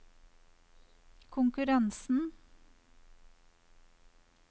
konkurransen